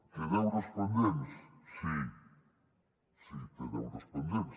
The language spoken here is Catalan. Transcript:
té deures pendents sí sí té deures pendents